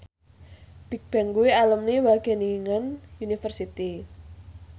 Bigbang kuwi alumni Wageningen University